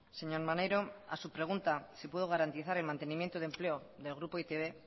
señor maneiro a su pregunta si puedo garantizar el mantenimiento de empleo del grupo e i te be